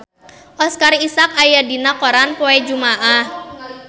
Oscar Isaac aya dina koran poe Jumaah